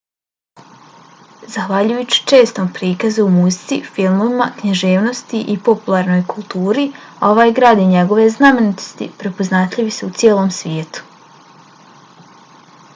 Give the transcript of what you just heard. zahvaljujući čestom prikazu u muzici filmovima književnosti i popularnoj kulturi ovaj grad i njegove znamenitosti prepoznatljivi su u cijelom svijetu